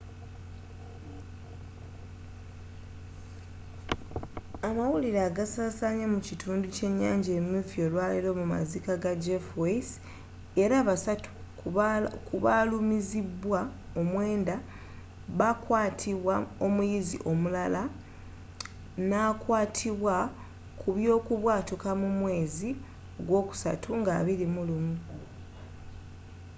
amawulire agasaasanye mu kitundu kyenyanja emyufu olwaleero mu maziika ga jeff weise era basatu ku balumizibwa omwenda bakwatibwa omuyizi omulala nakwatubwa kubyokubwatuuka mu mwezi gwokusatu nga 21